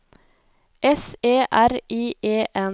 S E R I E N